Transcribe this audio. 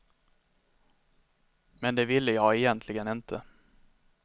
Men det ville jag egentligen inte.